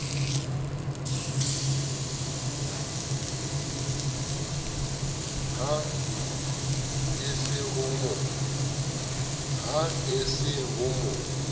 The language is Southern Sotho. ha e se ho mo